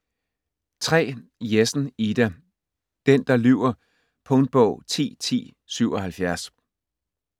Jessen, Ida: Den der lyver Punktbog 101077